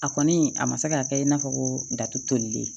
A kɔni a ma se ka kɛ i n'a fɔ ko datu tolilen